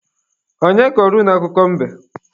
Onye kọrọ unu akụkọ mbe?